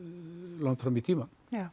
langt fram í tímann